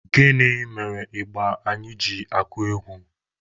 Gịnị mere ịgba anyị ji akụ egwu?